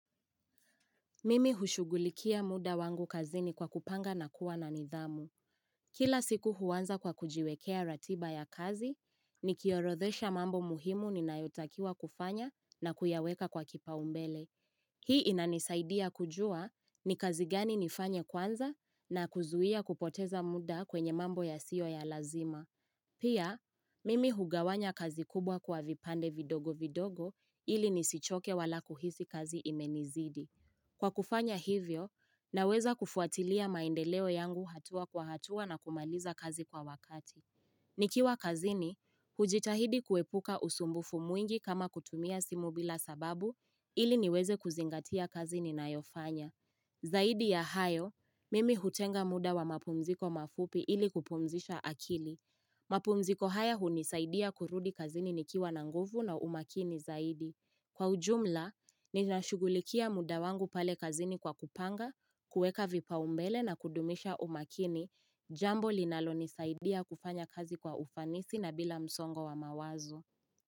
Mimi hushugulikia muda wangu kazi ni kwa kupanga na kuwa na nidhamu. Kila siku huanza kwa kujiwekea ratiba ya kazi, ni kiorodhesha mambo muhimu ni nayo takiwa kufanya na kuyaweka kwa kipao mbele. Hii inanisaidia kujua ni kazi gani nifanye kwanza na kuzuia kupoteza muda kwenye mambo yasiyo ya lazima. Pia, mimi hugawanya kazi kubwa kwa vipande vidogo vidogo ili nisichoke wala kuhisi kazi imenizidi. Kwa kufanya hivyo, naweza kufuatilia maendeleo yangu hatua kwa hatua na kumaliza kazi kwa wakati. Nikiwa kazini, hujitahidi kuepuka usumbufu mwingi kama kutumia simu bila sababu ili niweze kuzingatia kazi ninayo fanya. Zaidi ya hayo, mimi hutenga muda wa mapumziko mafupi ili kupumzisha akili. Mapumziko haya hunisaidia kurudi kazini nikiwa na nguvu na umakini zaidi. Kwa ujumla, ninashugulikia muda wangu pale kazini kwa kupanga, kuweka vipa umbele na kudumisha umakini, jambo linalo nisaidia kufanya kazi kwa ufanisi na bila msongo wa mawazo.